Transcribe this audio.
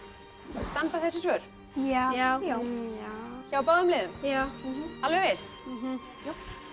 standa þessi svör já já já hjá báðum liðum já alveg viss já